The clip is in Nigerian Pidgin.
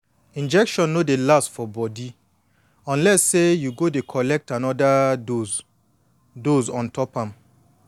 injection no dey last for body unless say you go dey collect anoda dose dose ontop am